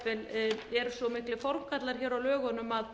jafnvel eru svo miklir formgallar hér á lögunum að